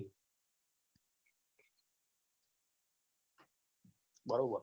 બરોબર